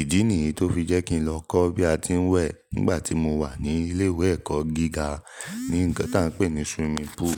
Ìdí nìyí tó fi jẹ́ kí n lọ kọ́ bí a ti ń wẹ̀ nígbà tí mo wà ní ilé ìwé ẹ̀kọ́ gíga ní ǹkan tí à ń pè ní swimming pool.